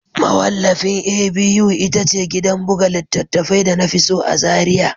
Mawallafin A.B.U ita ce gidan buga littattafai da na fi so a Zariya